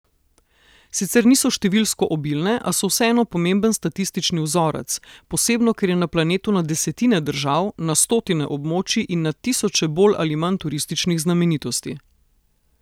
Sicer niso številsko obilne, a so vseeno pomemben statistični vzorec, posebno ker je na planetu na desetine držav, na stotine območij in na tisoče bolj ali manj turističnih znamenitosti.